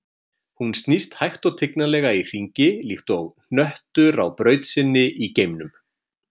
Hún snýst hægt og tignarlega í hringi, líkt og hnöttur á braut sinni í geimnum.